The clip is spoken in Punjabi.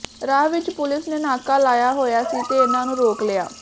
ਰਾਹ ਵਿਚ ਪੁਲਿਸ ਨੇ ਨਾਕਾ ਲਾਇਆ ਹੋਇਆ ਸੀ ਤੇ ਇਨ੍ਹਾਂ ਨੂੰ ਰੋਕ ਲਿਆ